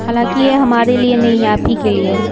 हालांकि ये हमारे लिए नहीं आप ही के लिए है।